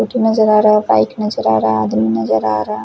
Scooty नजर आ रहा है बाइक नजर आ रहा है आदमी नजर आ रहा है।